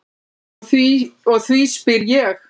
Og því spyr ég.